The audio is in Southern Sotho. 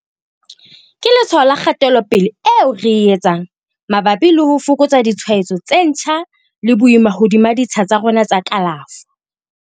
Ke letshwao la kgatelopele eo re e etsang mabapi le ho fokotsa ditshwaetso tse ntjha le boima hodima ditsha tsa rona tsa kalafo.